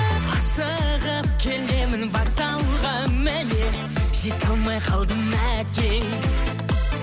асығып келемін вокзалға міне жете алмай қалдым әттең